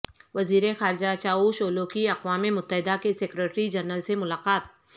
وزیر خارجہ Cavusoglu کی اقوام متحدہ کے سیکرٹری جنرل سے ملاقات